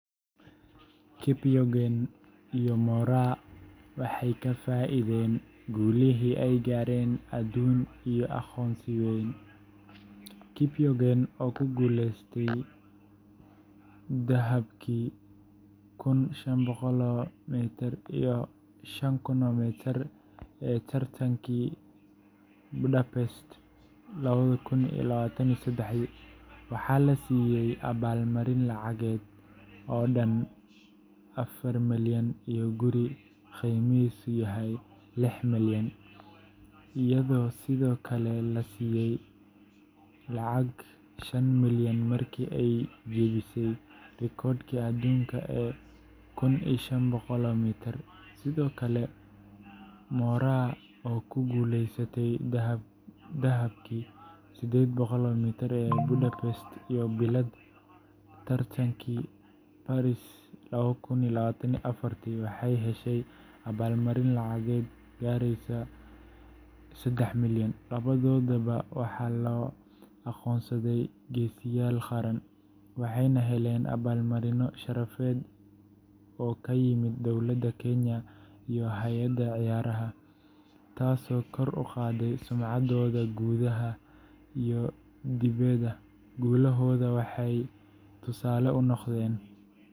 Faith Kipyegon iyo Mary Moraa waxay ka faa’iideen guulihii ay gaareen aduun iyo aqoonsi weyn. Kipyegon, oo ku guuleysatay dahabkii kun shan boqol m iyo sjan kun m ee tartankii Budapest labadi kun labatan iyo sedexdi, waxaa la siiyay abaalmarin lacageed dhan Ksh afar milyan iyo guri qiimihiisu yahay Ksh lix milyan, iyadoo sidoo kale la siiyay Ksh shan milyan markii ay jebisay rikoodhkii adduunka ee kun shan boqol m. Sidoo kale, Mary Moraa oo ku guuleysatay dahabkii 800m ee Budapest iyo bilad bronze tartankii Paris laba kun labatan afarti, waxay heshay abaalmarino lacageed gaaraya Ksh sedex milyan. Labadoodaba waxaa loo aqoonsaday geesiyaal qaran, waxayna heleen abaalmarino sharafeed oo ka yimid dowladda Kenya iyo hay’adaha ciyaaraha, taasoo kor u qaaday sumcaddooda gudaha iyo dibedda. Guulahooda waxay tusaale u noqdeen.